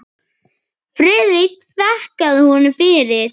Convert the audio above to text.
Friðrik þakkaði honum fyrir.